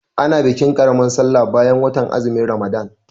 A na bikin ƙaramar sallar bayan watan azumin Ramalan.